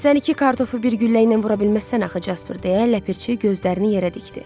Sən iki kartofu bir güllə ilə vura bilməzsən axı, Casper, deyə ləpirçi gözlərini yerə dikdi.